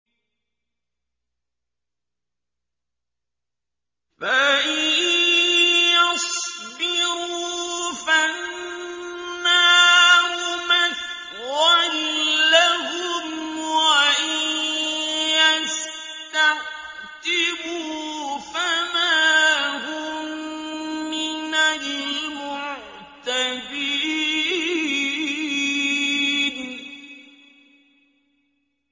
فَإِن يَصْبِرُوا فَالنَّارُ مَثْوًى لَّهُمْ ۖ وَإِن يَسْتَعْتِبُوا فَمَا هُم مِّنَ الْمُعْتَبِينَ